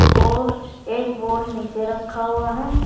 और एक बोर्ड नीचे रखा हुआ है।